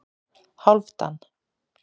Hálfdan